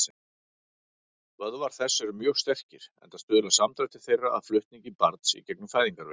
Vöðvar þess eru mjög sterkir, enda stuðla samdrættir þeirra að flutningi barns í gegnum fæðingarveginn.